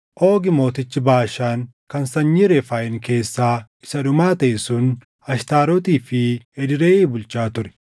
Oogi mootichi Baashaan kan sanyii Refaayim keessaa isa dhumaa taʼe sun Ashtaarotii fi Edreyii bulchaa ture.